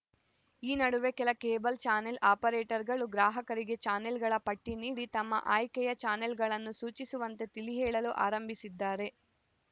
ಈ ನಡುವೆ ಕೆಲ ಕೇಬಲ್‌ ಚಾನೆಲ್‌ ಆಪರೇಟರ್‌ಗಳು ಗ್ರಾಹಕರಿಗೆ ಚಾನೆಲ್‌ಗಳ ಪಟ್ಟಿನೀಡಿ ತಮ್ಮ ಆಯ್ಕೆಯ ಚಾನೆಲ್‌ಗಳನ್ನು ಸೂಚಿಸುವಂತೆ ತಿಳಿಹೇಳಲು ಆರಂಭಿಸಿದ್ದಾರೆ